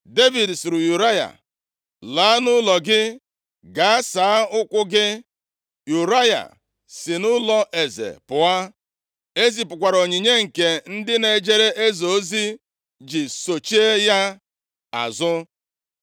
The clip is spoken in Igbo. Devid sịrị Ụraya, “Laa nʼụlọ gị gaa saa ụkwụ gị.” Ụraya si nʼụlọeze pụọ. E zipụkwara onyinye nke ndị na-ejere eze ozi ji sochie ya azụ.